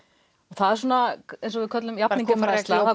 það er eins og við köllum jafningjafræðsla